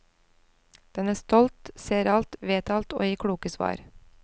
Den er stolt, ser alt, vet alt og gir kloke svar.